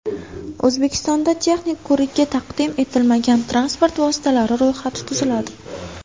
O‘zbekistonda texnik ko‘rikka taqdim etilmagan transport vositalari ro‘yxati tuziladi.